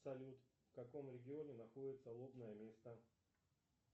салют в каком регионе находится лобное место